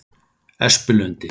Espilundi